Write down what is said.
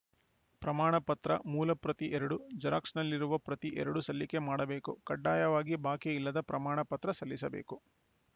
ಪ್ರಮಾಣ ಪತ್ರ ಮೂಲ ಪ್ರತಿ ಎರಡು ಜೆರಾಕ್ಸ್‌ ಪ್ರತಿ ಎರಡು ಸಲ್ಲಿಕೆ ಮಾಡಬೇಕು ಕಡ್ಡಾಯವಾಗಿ ಬಾಕಿ ಇಲ್ಲದ ಪ್ರಮಾಣ ಪತ್ರ ಸಲ್ಲಿಸಬೇಕು